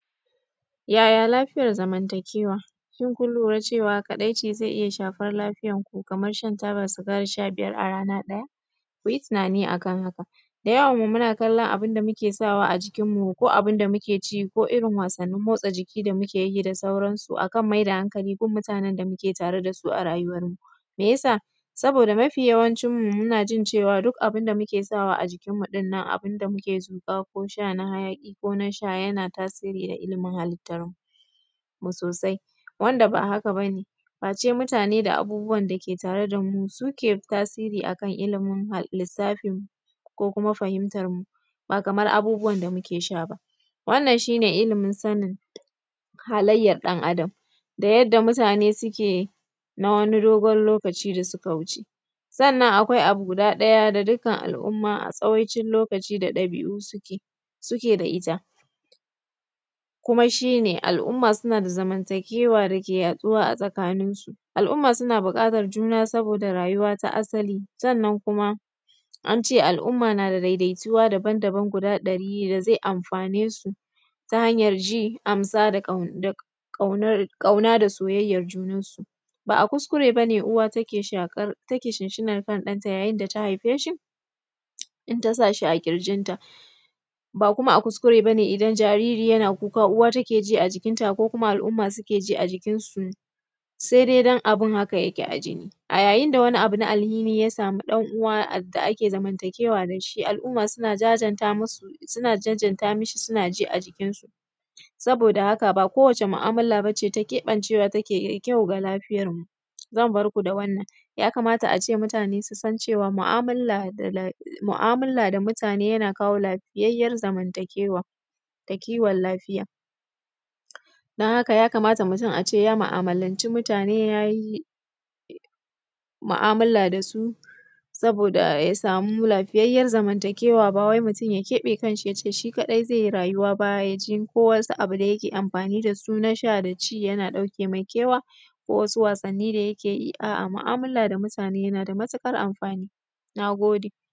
Yaya lafiyar zamantakewa shi kun lura cewa kadaici zai iya shafar lafiyarku kamar shan taba sigari sha biyar a rana ɗaya, mu yi tunani a kan haka. Da yawan abun da muke sawa a jikinmu ko a ciki ko irin wasannin motsa jiki da muke yi da sauransu akan maida hankali gun mutanen da muke tare da su a rayuwarmu. Meyasa? Saboda mafi yawancinmu muna jin cewa duk abun da muke sawa a jikinmu da abun da muke zuƙa ko sha na hayaƙi ko na sha yana tasirin a ilimin halittarmu sosai, wanda ba haka ba ne face mutane da abubuwan dake tare da mu suke da tasirin a lissafinmu ko kuma fahimtarmu ba kamar abubuwan da muke sha ba. Wannan shi ne ilimin sanin halayyar ɗan Adam da yadda mutane suke na wani dogon lokaci da suka wuce. Sannan akwai abu guda ɗaya da dukkan al'umma a tsawaicin lokaci ɗabi'u da suka da ita kuma shi ne al'umma suna da zamantakewa da yake yaɗuwa a tsakaninsu. Al'umma suna buƙatar juna saboda rayuwa ta asali sannan kuma al'umma na da daidaituwa daban-daban guda ɗari da zai amfane su, ta hanyar ji amsa da ƙauna da soyayyar junansu. Ba a kuskure ba ne uwa da take shinshinanr kan ɗanta da ta haife shi in ta sa shi a ƙirjinta. Ba kuma a kuskure ba ne idan jariri yana kuka ba take ji a jikinta ko kuma al'umma suke ji a jikinsu sai dai don abin haka yake a jini. A yayin da wani abu na alhini ya samu ɗan uwa da ake zamantakewa da shi, al'umma suna jajanta mu shi suna ji a jikinsu. Saboda haka ba kowacce mu'amala ba ce ta keɓancewa take da ƙyau ga lafiyarmu. Zan barku da wannan, ya kamata a ce mutane su san cewa mu'amala da mutane yana kawo lafiyayyar zamantakewar lafiya, don haka ya kamata a ce mutum ya muamalancin mutane ya yi mu'amala da si saboda ya samu lafiyayyar zamantakewar ba wai mutum ya keɓe kanshi ya ce shi kadai zai yi rayuwa ko wani abu da yake amfani da su na sha da shi yana ɗauke mai kewa ko wasu wasanni da yake yi, a'a mu'amala da mutane yana da matukar amfani. Na gode.